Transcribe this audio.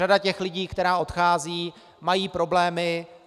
Řada těch lidí, kteří odcházejí, má problémy.